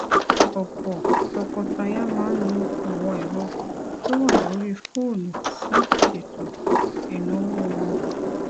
òpò tọkọtaya máa ń lo àwọn èrọ tó wà lórí fóònù láti ṣètò ìnáwó wọn